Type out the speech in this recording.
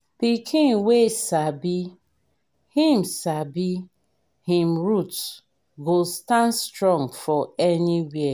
pikin wey sabi him sabi him root go stand strong for anywhere.